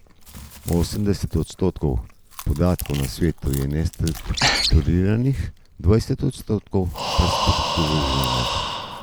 Osemdeset odstotkov podatkov na svetu je nestrukturiranih, dvajset odstotkov pa strukturiranih.